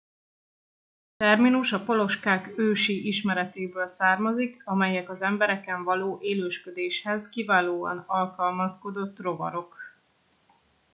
a terminus a poloskák ősi ismeretéből származik amelyek az embereken való élősködéshez kiválóan alkalmazkodott rovarok